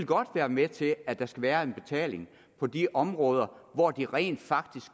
godt være med til at der skal være en betaling på de områder hvor de rent faktisk